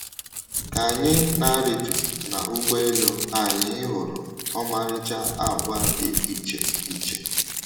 Ka anyị na - arịtu n’ụgbọelu, anyị hụrụ ọmarịcha àgwà dị iche iche.